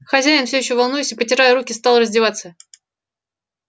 хозяин всё ещё волнуясь и потирая руки стал раздеваться